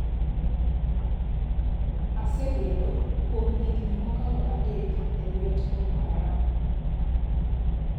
‘Asebedo kuom higni mokalo adek e lwet Boko Haram.